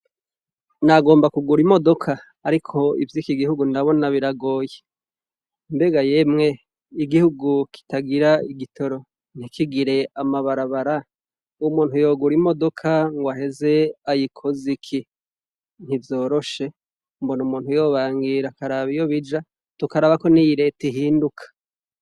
Nagomba kugura imodoka ariko ivyi kigihugu ndabona biragoye , mbega yemwe igihugu kitagira igitoro ntikigire amabarabara umuntu yogura imodoka ngo ageze ayikoze iki? mbona yombangira akaraba iyo bija. tukaraba ko iyi leta ihinduka.